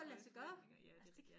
Høje forventinger ja det ja